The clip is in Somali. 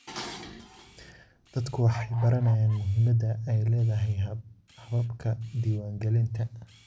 Dadku waxay baranayaan muhimadda ay leedahay hababka diiwaangelinta.